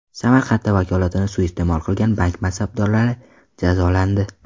Samarqandda vakolatini suiiste’mol qilgan bank mansabdorlari jazolandi.